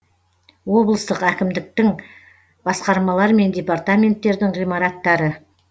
облыстық әкімдіктің басқармалар мен департаменттердің ғимараттары